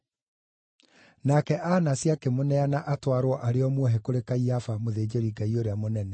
Nake Anasi akĩmũneana atwarwo arĩ o muohe kũrĩ Kaiafa mũthĩnjĩri-Ngai ũrĩa mũnene.